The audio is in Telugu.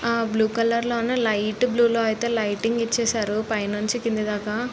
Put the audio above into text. ఆ బ్లూ కలర్ లోనే లైట్ బ్లూ లో అయితే లైటింగ్ ఇచ్చేశారు పైనుండి కింద దాకా.